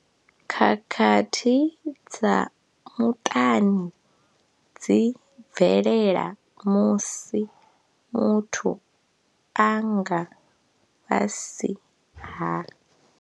Khakhathi dza muṱani dzi bvelela musi muthu a nga fhasi ha.